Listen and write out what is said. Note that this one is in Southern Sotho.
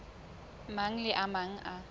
mang le a mang a